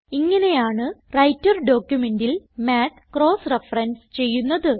ഇങ്ങനെയാണ് വ്രൈട്ടർ ഡോക്യുമെന്റിൽ math cross reference ചെയ്യുന്നത്